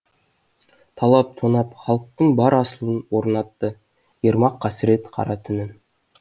талап тонап халықтың бар асылын орнатты ермак қасірет қара түнін